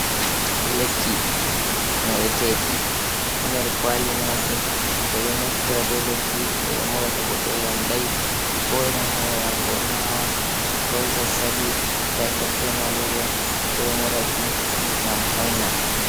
Lekki moɗeteki haa nder kwali maajum. Ɓe ɗo mostira be lekki ɓe ɗo moɗa to goɗɗo yamɗai, ko irin hore maako o nawa, ko zazaɓi tayfod, be maleriya. Ɓe ɗo moɗaki ngam hoina.